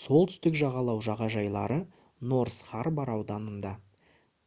солтүстік жағалау жағажайлары норс харбор ауданында